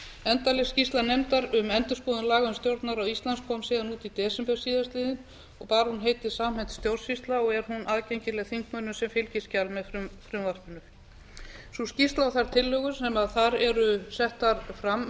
endanleg skýrsla nefndar um endurskoðun laga um stjórnarráð íslands kom síðan út í desember síðastliðinn og bar hún heitið samhent stjórnsýsla og er hún aðgengileg þingmönnum sem fylgiskjal með frumvarpinu sú skýrsla og þær tillögur sem þar eru settar fram